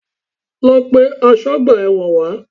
Lọ pe asọ́gbà ẹ̀wọ̀n wá!